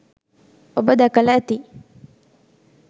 ඔබ දැකල ඇති